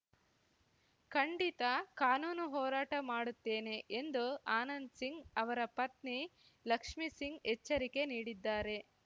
ಖಂಡಿತಾ ಕಾನೂನು ಹೋರಾಟ ಮಾಡುತ್ತೇನೆ ಎಂದು ಆನಂದ್‌ ಸಿಂಗ್‌ ಅವರ ಪತ್ನಿ ಲಕ್ಷ್ಮಿಸಿಂಗ್‌ ಎಚ್ಚರಿಕೆ ನೀಡಿದ್ದಾರೆ